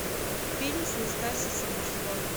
фильм с настасьей самбурской